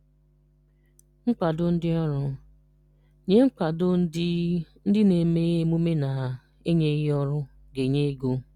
Nkwado Ndị Ọrụ: Nye nkwado ndị ndị na-eme emume na-enyeghi ọrụ ga-enye ego.